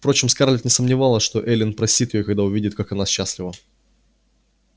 впрочем скарлетт не сомневалась что эллин простит её когда увидит как она счастлива